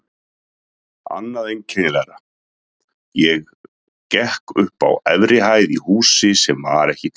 Annað einkennilegra: ég gekk upp á efri hæð í húsi sem var ekki til.